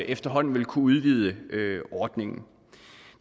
efterhånden vil kunne udvide ordningen